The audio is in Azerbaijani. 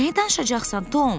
Nəyi danışacaqsan Tom?